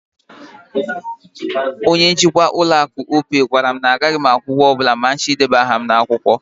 Opay bank manager told that I wouldn't be paying any money to register with them.